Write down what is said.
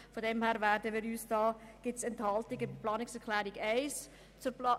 Bei der Planungserklärung 1 gibt es aus diesem Grund in unserer Fraktion Enthaltungen.